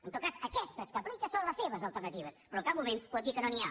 en tot cas aquestes que aplica són les seves alternatives però en cap moment pot dir que no n’hi ha